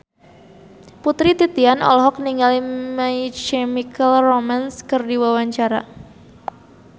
Putri Titian olohok ningali My Chemical Romance keur diwawancara